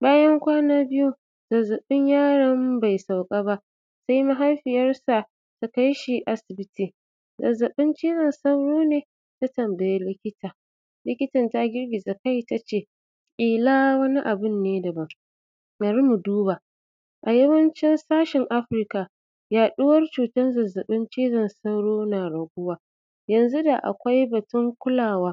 Bayan kwana biyu, zazzaɓin yaron bai sauka ba, sai mahaifiyarsa ta kai shi asibiti, “zazzaɓin cizon sauro ne?” ta tambayi likita. Likitan ta girgiza kai ta ce, “ƙila wani abin ne daban, bari mu duba”. A yawancin sashin Africa, yaɗuwar zazzaɓin cizon sauro yana raguwa. Yanzu da akwai batun kulawa,